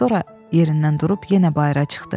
Sonra yerindən durub yenə bayıra çıxdı.